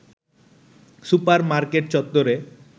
super market চত্ত্বরে